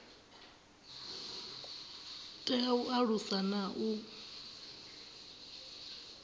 tea u alusa na u